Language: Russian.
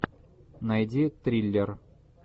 найди триллер